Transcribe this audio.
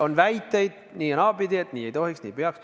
On väiteid nii- ja naapidi, et nii ei tohiks, nii ei peaks.